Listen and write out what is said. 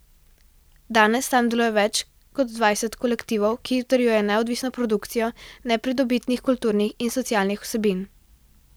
Danes tam deluje več kot dvajset kolektivov, ki utrjujejo neodvisno produkcijo nepridobitnih kulturnih in socialnih vsebin.